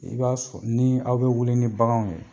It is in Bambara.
I b'a sɔrɔ ni aw bɛ wuli ni baganw ye.